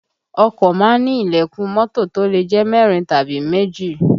Ọkọ má ń ní ìlẹ̀kùn mọ́tò lè jẹ́ mẹ́rin tàbí méjì